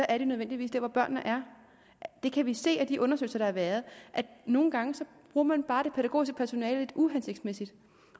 er de nødvendigvis der hvor børnene er vi kan se af de undersøgelser der har været at nogle gange bruger man bare det pædagogiske personale lidt uhensigtsmæssigt